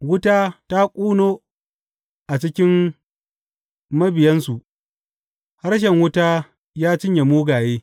Wuta ta ƙuno a cikin mabiyansu; harshen wuta ya cinye mugaye.